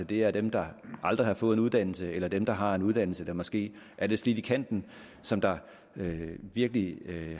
det er dem der aldrig har fået en uddannelse eller dem der har en uddannelse der måske er lidt slidt i kanten som virkelig